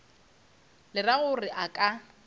le ra gore a ka